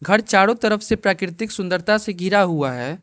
घर चारों तरफ से प्राकृतिक सुंदरता से घिरा हुआ है।